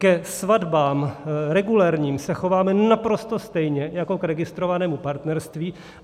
Ke svatbám regulérním se chováme naprosto stejně jako k registrovanému partnerství.